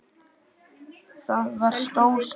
Það var stór stund.